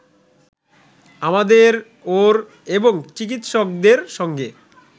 আমাদের ওর এবং চিকিৎসকদের সঙ্গে